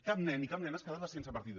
cap nen i cap nena es quedava sense partida